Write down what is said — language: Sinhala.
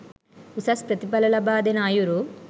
උසස් ප්‍රතිඵල ලබාදෙන අයුරු